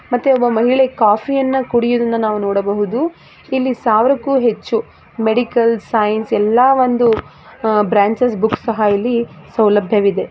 ಮತ್ತೆ ಒಬ್ಬ ಮಹಿಳೆ ಕಾಫಿಯನ್ನು ಕುಡಿಯುವುದನ್ನು ನಾವು ನೋಡಬಹುದು ಇಲ್ಲಿ ಸಾವಿರಕ್ಕೂ ಹೆಚ್ಚು ಮೆಡಿಕಲ್ ಸಯನ್ಸ್ ಎಲ್ಲ ಒಂದು ಬ್ರಾಂಚೆಸ್ ಬುಕ್ಸ ಸಹ ಸೌಲಭ್ಯ ವಿದೆ .